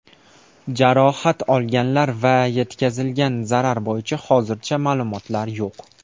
Jarohat olganlar va yetkazilgan zarar bo‘yicha hozircha ma’lumotlar yo‘q.